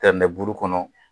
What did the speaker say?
buru kɔnɔ